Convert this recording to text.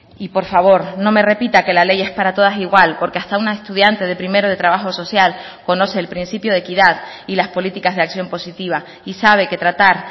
y por favor no me repita que la ley es para todas igual porque hasta una estudiante de primero de trabajo social conoce el principio de equidad y las políticas de acción positiva y sabe que tratar